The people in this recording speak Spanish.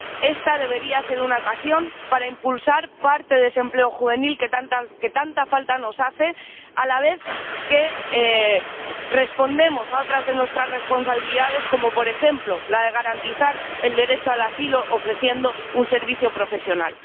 Esta debería ser una ocasión para impulsar parte de ese empleo juvenil que tanta falta nos hace, a la vez que respondemos a otras de nuestras responsabilidades, como por ejemplo la de garantizar el derecho al asilo, ofreciendo un servicio profesional.